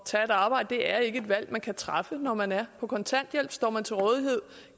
tage et arbejde det er ikke et valg man kan træffe når man er på kontanthjælp står man til rådighed